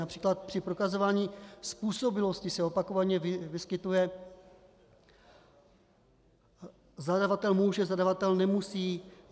Například při prokazování způsobilosti se opakovaně vyskytuje zadavatel může, zadavatel nemusí.